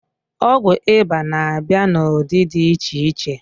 Ọgwụ ịba na-abịa n'ụdị dị iche iche